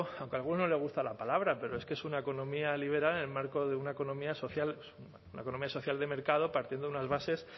aunque a alguno no le gusta la palabra pero es que es una economía liberal en el marco de una economía social una economía social de mercado partiendo de unas bases